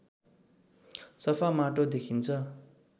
सफा माटो देखिन्छ